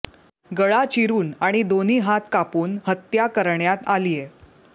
गळा चिरून आणि दोन्ही हात कापून हत्या करण्यात आलीय